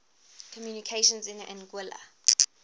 communications in anguilla